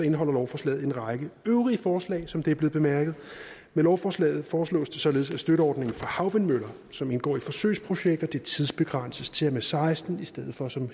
indeholder lovforslaget en række øvrige forslag som det er blevet bemærket med lovforslaget foreslås det således at støtteordningen for havvindmøller som indgår i forsøgsprojekter tidsbegrænses til og seksten i stedet for som